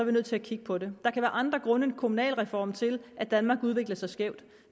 vi nødt til at kigge på det der kan være andre grunde end kommunalreformen til at danmark udvikler sig skævt